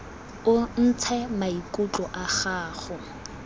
o ntshe maikutlo a gago